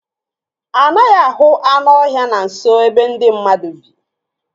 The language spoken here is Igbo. Anaghị ahụ anụ ọhịa na nso ebe ndị mmadụ bi.